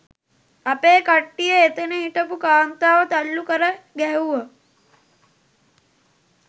අපේ කට්‌ටිය එතැන හිටපු කාන්තාව තල්ලු කරගැහැව්වා